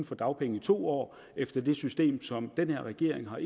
få dagpenge i to år efter det system som den her regering har